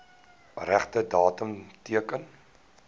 regte datum teken